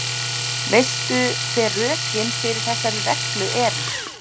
Veistu hver rökin fyrir þessari reglu eru?